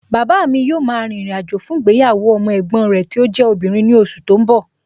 Bàbáa mi yóò ma rìnrìn àjò fún ìgbéyàwó ọmọ ẹ̀gbọ́n rẹ tí ó jẹ́ obìnrin ní oṣù tó ń bọ̀